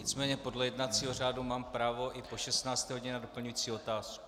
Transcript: Nicméně podle jednacího řádu mám právo i po 16. hodině dát doplňující otázku.